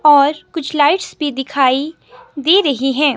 और कुछ लाइट्स भी दिखाई दे रही है।